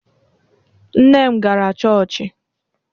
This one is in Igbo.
Nne m gara chọọchị.